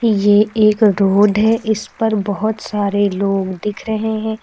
ये एक रोड है इस पर बहोत सारे लोग दिख रहे हैं।